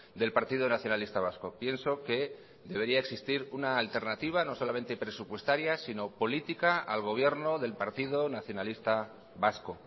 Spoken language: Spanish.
del partido nacionalista vasco pienso que debería existir una alternativa no solamente presupuestaria sino política al gobierno del partido nacionalista vasco